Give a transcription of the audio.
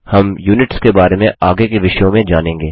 हम यूनिट्स के बारे में आगे के विषयों में जानेंगे